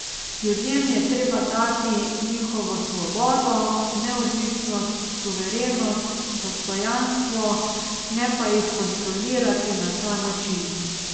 Ljudem je treba dati njihovo svobodo, neodvisnost, suverenost, dostojanstvo, ne pa jih kontrolirati na ta način.